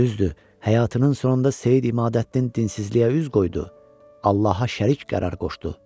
Düzdür, həyatının sonunda Seyid İmadəddin dinsizliyə üz qoydu, Allaha şərik qərar qoşdu.